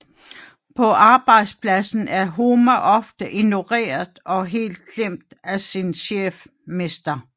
På arbejdspladsen er Homer ofte ignoreret og helt glemt af sin chef Mr